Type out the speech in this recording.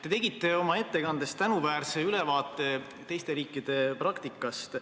Te tegite oma ettekandes tänuväärse ülevaate teiste riikide praktikast.